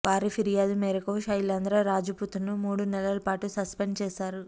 వారి ఫిర్యాదు మేరకు శైలేంద్ర రాజ్ పుత్ ను మూడు నెలల పాటు సస్పెండ్ చేశారు